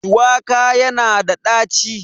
Shuwaka yana da ɗaci.